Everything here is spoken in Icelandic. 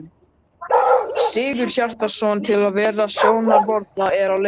Sigurhjartarson, til að vera sjónarvotta að leitinni.